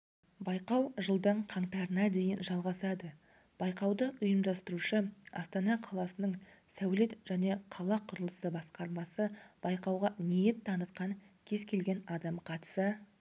байқау жылдың қаңтарына дейін жалғасады байқауды ұйымдастырушы астана қаласының сәулет және қала құрылысы басқармасы байқауға ниет танытқан кез келген адам қатыса